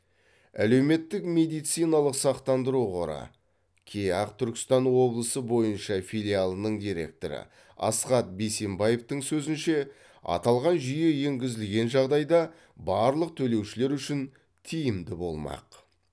әлеуметтік медициналық сақтандыру қоры кеақ түркістан облысы бойынша филиалының директоры асхат бейсенбаевтың сөзінше аталған жүйе енгізілген жағдайда барлық төлеушілер үшін тиімді болмақ